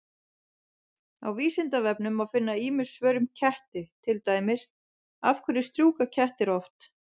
Á Vísindavefnum má finna ýmis svör um ketti, til dæmis: Af hverju strjúka kettir oft?